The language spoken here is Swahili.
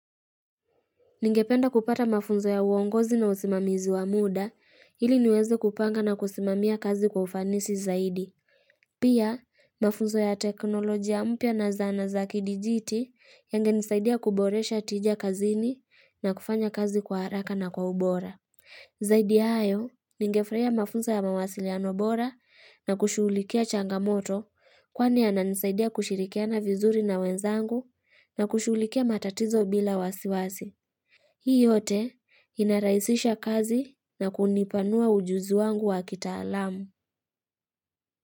Ningependa kupata mafunzo ya uongozi na usimamizi wa muda, ili niweze kupanga na kusimamia kazi kwa ufanisi zaidi. Pia, mafunzo ya teknolojia mpya na zana za kidijiti yangenisaidia kuboresha tija kazini na kufanya kazi kwa haraka na kwa ubora. Zaidi ya hayo, ningefurahia mafunzo ya mawasiliano bora na kushughulikia changamoto kwani yananisaidia kushirikiana vizuri na wenzangu na kushughulikia matatizo bila wasiwasi. Hii yote inarahisisha kazi na kunipanua ujuzi wangu wa kitaalamu.